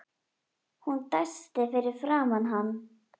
Hún dæsti fyrir framan hann.